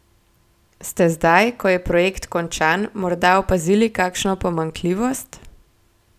Ste zdaj, ko je projekt končan, morda opazili kakšno pomanjkljivost?